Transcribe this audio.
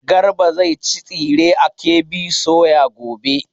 Garba zai ci tsire a KB soya gobe.